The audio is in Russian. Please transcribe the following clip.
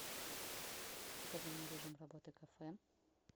покажи мне режим работы кафе